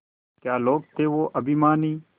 क्या लोग थे वो अभिमानी